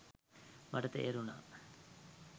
මට තේරුනා